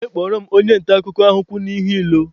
Jee kpọrọ m onye nta akụkọ ahụ kwụ n'ihu ilo!